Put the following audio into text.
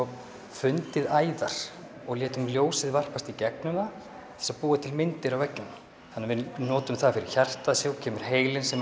fundið æðar og létum ljósið varpast í gegnum það til þess að búa til myndir á veggjunum þannig að við notum það fyrir hjartað síðan kemur heilinn sem er